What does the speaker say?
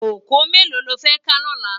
Kókòó méló ló fè ká lòlá?